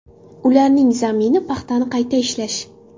Ularning zamini paxtani qayta ishlash.